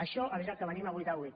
això és el que venim a votar avui